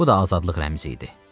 Bu da azadlıq rəmzi idi.